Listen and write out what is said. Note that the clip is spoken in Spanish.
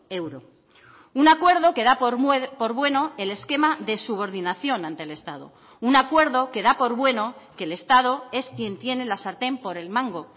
euro un acuerdo que da por bueno el esquema de subordinación ante el estado un acuerdo que da por bueno que el estado es quien tiene la sartén por el mango